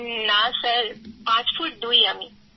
কৃত্তিকাঃ না স্যার পাঁচ ফুট দুই আমি